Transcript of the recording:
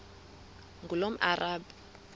ngulomarabu